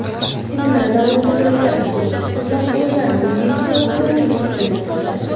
Seminarlar davomida minglab bitiruvchi qizlar o‘zlarining biznes loyihalarini shakllantirdi”.